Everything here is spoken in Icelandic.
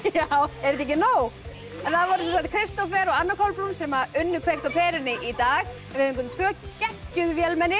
er þetta ekki nóg það voru Kristófer og Anna Kolbrún sem unnu kveikt á perunni í dag við fengum tvö geggjuð vélmenni